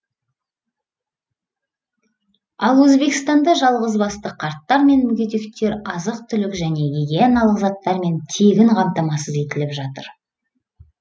ал өзбекстанда жалғызбасты қарттар мен мүгедектер азық түлік және гигиеналық заттармен тегін қамтамасыз етіліп жатыр